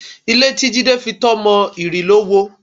Ilé tí Jídé fitọ́ mọ, ìrì ló wo